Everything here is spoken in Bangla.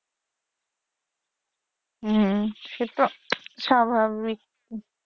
হম সেতো স্বাভাবিক